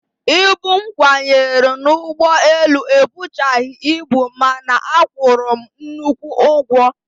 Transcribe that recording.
Ibu m kwanyere n'ụgbọelu ebuchaghị ibu mana a kwụrụ m nnukwu ụgwọ